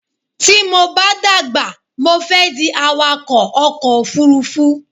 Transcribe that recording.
Tí mo bá dàgbà mo fẹ́ di awakọ̀ ọkò òfurufú